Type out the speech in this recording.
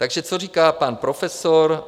Takže co říká pan profesor?